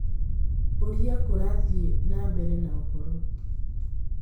ũrĩa kũrathiĩ na mbere na ũhoro